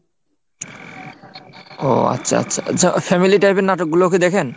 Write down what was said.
ও আচ্ছা আচ্ছা family type এর নাটকগুলোকি দেখেন?